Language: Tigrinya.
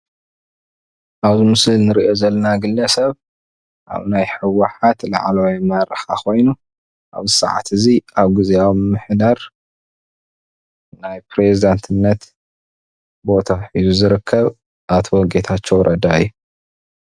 ኣብዚ ምስሊ እንሪኦ ዘለና ግለሰብ ኣብ ናይ ህወሓት ላዕለዋይ አመራርሓ ኮይኑ አብዚ ሰዓት እዚ አብ ግዜያዊ ምምሕዳር ናይ ፕረዚዳትነት ባታ ሒዙ ዝረከብ አቶ ጌታቸው ረዳ እዪ።